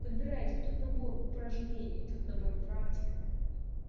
подбирайте тот набор упражнений тот набор практик